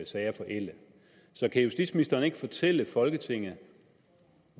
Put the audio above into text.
sager forælde så kan justitsministeren ikke fortælle folketinget